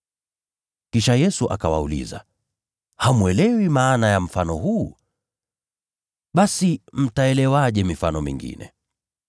Kisha Yesu akawauliza, “Hamwelewi maana ya mfano huu? Basi mtaelewaje mifano mingine?